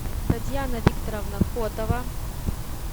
татьяна викторовна котова